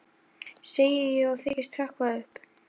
segi ég og þykist hrökkva upp.